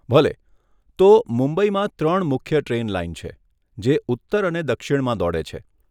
ભલે, તો મુંબઈમાં ત્રણ મુખ્ય ટ્રેન લાઈન છે, જે ઉત્તર અને દક્ષિણમાં દોડે છે.